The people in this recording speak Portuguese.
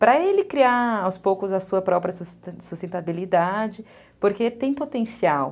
para ele criar aos poucos a sua própria sustentabilidade, porque tem potencial.